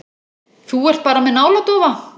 Þú ert bara með náladofa.